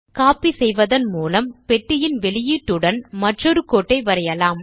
copy செய்வதன் மூலம் பெட்டியின் வெளியீட்டுடன் மற்றொரு கோட்டை வரையலாம்